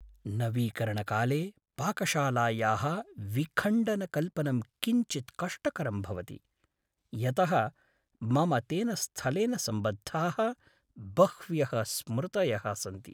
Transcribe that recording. नवीकरणकाले पाकशालायाः विखण्डनकल्पनं किञ्चित् कष्टकरं भवति, यतः मम तेन स्थलेन सम्बद्धाः बह्व्यः स्मृतयः सन्ति।